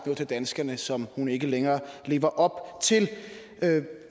til danskerne som hun ikke længere lever op til